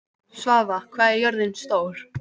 Svava, hvað er jörðin stór?